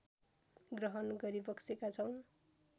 ग्रहण गरिबक्सेका छौँ